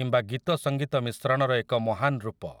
କିମ୍ବା ଗୀତସଙ୍ଗୀତ ମିଶ୍ରଣର ଏକ ମହାନ୍ ରୂପ ।